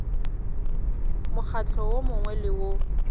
mokgatlo wo mongwe le wo